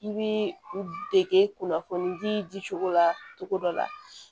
I bi u dege kunnafoni di di cogo la cogo dɔ la